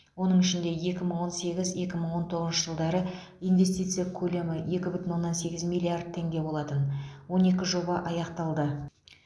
оның ішінде екі мың он сегіз екі мың он тоғыз жылдары инвестиция көлемі екі бүтін оннан сегіз миллиард теңге болатын он екі жоба аяқталды